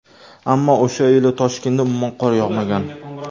Ammo o‘sha yili Toshkentda umuman qor yog‘magan.